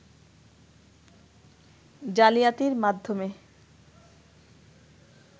জালিয়াতির মাধ্যমে